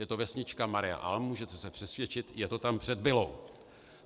Je to vesnička Maria Alm, můžete se přesvědčit, je to tam před Billou.